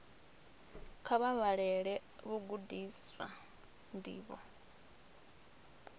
kha vha vhalele vhagudiswa ndivho